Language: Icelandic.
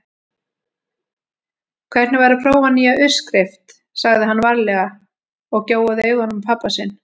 Hvernig væri að prófa nýja uppskrift sagði hann varlega og gjóaði augunum á pabba sinn.